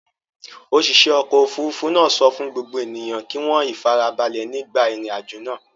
Òṣìṣẹ́ ọkọ̀-òfurufú náà sọ fún gbogbo ènìyàn kí wọ́n ìfarabalẹ̀ nígbà ìrìnàjò náà.